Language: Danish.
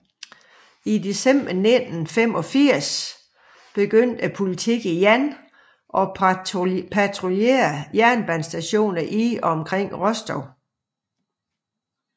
I december 1985 begyndte politiet igen at patruljere jernbanestationer i og omkring Rostov